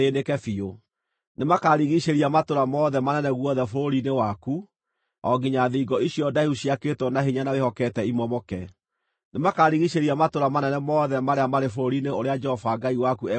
Nĩmakarigiicĩria matũũra mothe manene guothe bũrũri-inĩ waku, o nginya thingo icio ndaihu ciakĩtwo na hinya na wĩhokete imomoke. Nĩmakarigiicĩria matũũra manene mothe marĩa marĩ bũrũri-inĩ ũrĩa Jehova Ngai waku egũkũhe.